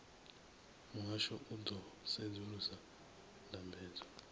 muhasho u ḓo sedzulusa ndambedzo